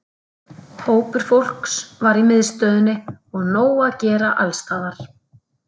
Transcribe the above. Hópur fólks var í miðstöðinni og nóg að gera alls staðar.